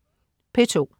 P2: